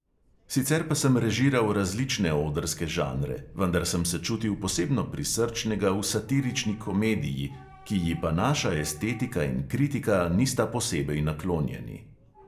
Sicer pa sem režiral različne odrske žanre, vendar sem se čutil posebno prisrčnega v satirični komediji, ki ji pa naša estetika in kritika nista posebej naklonjeni.